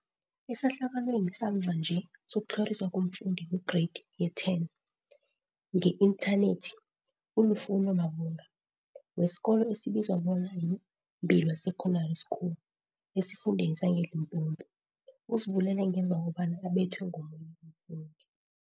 Esehlakalweni samva nje sokutlhoriswa komfundi weGreyidi ye-10 nge-intha nethi, u-Lufuno Mavhunga, wesikolo esibizwa bona yi-Mbilwi Secondary School esifundeni sangeLimpopo, uzibulele ngemva kobana abethwe ngomunye umfundi.